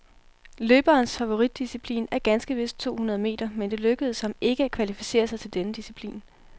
Løberens favoritdisciplin er ganske vist to hundrede meter, men det lykkedes ham ikke at kvalificere sig til denne disciplin.